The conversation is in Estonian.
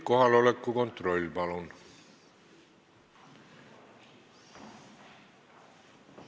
Kohaloleku kontroll, palun!